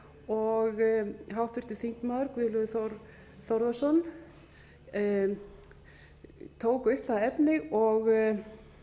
og háttvirtur þingmaður guðlaugur þór þórðarson tók upp það efni og